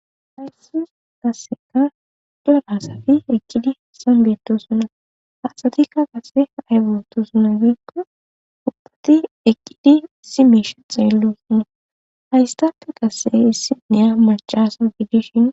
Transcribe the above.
Haysis qasseka dolasafi eqqidi sambeeto sona haasatikka qase aygotosuna giikko ubdati eqqidi si miishe xeello suna haystappe qasse issi neya machasa biidishin.